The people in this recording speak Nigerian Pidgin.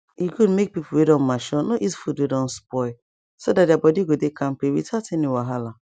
e good make people wey don mature no eat food wey don spoil so that their body go dey kampe without any wahala